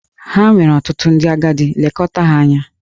Ha nwere ọtụtụ ndị agadi, lekọta ha anya!